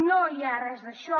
no hi ha res d’això